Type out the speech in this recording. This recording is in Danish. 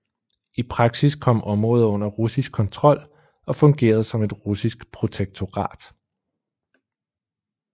I praksis kom området under russisk kontrol og fungerede som et russisk protektorat